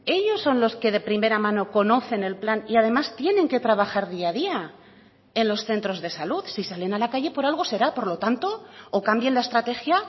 ellos son los que de primera mano conocen el plan y además tienen que trabajar día a día en los centros de salud si salen a la calle por algo será por lo tanto o cambien la estrategia